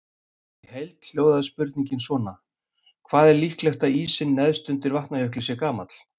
Í heild hljóðaði spurningin svona: Hvað er líklegt að ísinn neðst undir Vatnajökli sé gamall?